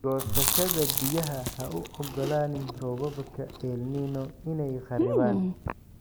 Goosashada Biyaha Ha u ogolaanin roobabka El Niño inay kharriban.